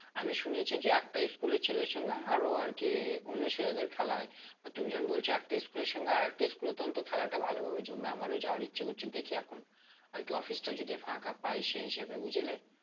আমি শুনেছি যে একটা school এর ছেলের সঙ্গে আরো আরকি অন্য ছেলেদের খেলা হয় তুমি যখন বলছ একটা school এর আরেকটা school এর তখন তো খেলাটা ভালো ভাবে জমবে আমরাও যাওয়ার ইচ্ছা করছে দেখি এখন হয়তো office টা যদি ফাাঁকা পায় সে হিসেবে বুঝলে